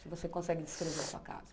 Se você consegue descrever a sua casa.